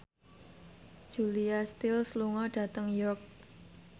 Julia Stiles lunga dhateng York